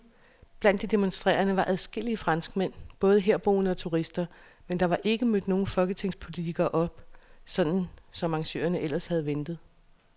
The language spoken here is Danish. Blandt de demonstrerende var adskillige franskmænd, både herboende og turister, men der var ikke mødt nogle folketingspolitikere op, som arrangørerne ellers havde ventet.